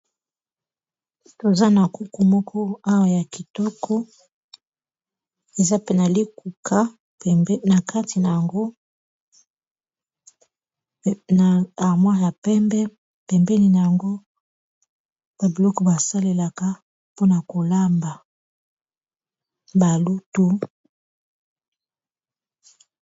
toza na kuku moko awa ya kitoko eza pena likuka pembe na kati na yango armoire ya pembe pembeni na yango ba biloko basalelaka mpona kolamba balutu